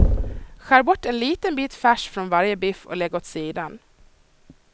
Skär bort en liten bit färs från varje biff och lägg åt sidan.